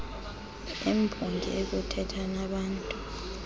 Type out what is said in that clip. embongi okuthetha nabaantu